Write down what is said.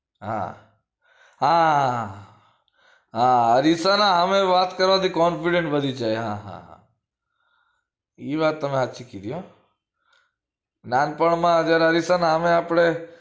હા હા હા હા અરીસાની સામે વાત કરવા થી confidence વધી જાય હા હા હા એ વાત સાચી હો નાનપણ માં અગર અરીસા હામે આપડે